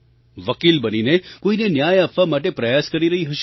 વકીલ બનીને કોઈને ન્યાય અપાવવા માટે પ્રયાસ કરી રહી હશે